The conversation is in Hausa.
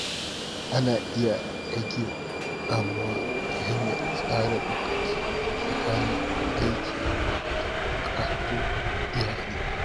Ana iya rage damuwa ta hanyar tsara lokaci tsakanin aiki da bukatun iyali.